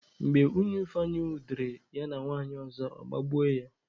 Mgbe Nwunye Ifeanyi jidere ya na nwanyị ọzọ, ọ gbagbuo ya.